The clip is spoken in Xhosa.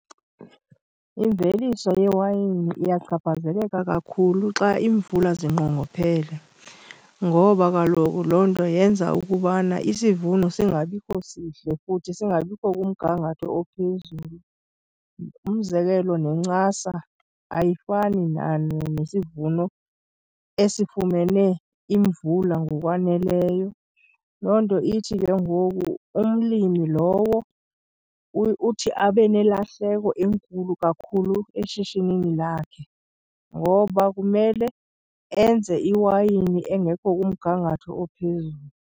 Imveliso yewayini iyachaphazeleka kakhulu xa iimvula zinqongophele, ngoba kaloku loo nto yenza ukubana isivuno singabikho sihle futhi singabikho kumgangatho ophezulu. Umzekelo, nencasa ayifani nesivuno esifumene imvula ngokwaneleyo. Loo nto ithi ke ngoku umlimi lowo uthi abe nelahleko enkulu kakhulu eshishinini lakhe, ngoba kumele enze iwayini engekho kumgangatho ophezulu.